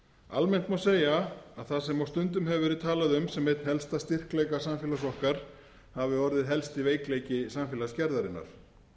almennt má segja að það sem á stundum hefur verið talað sem einn helsta styrkleika samfélags okkar hafi orðið helsti veikleiki samfélagsgerðarinnar